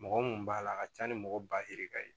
Mɔgɔ mun b'a la a ka ca ni mɔgɔ ba ye ka ye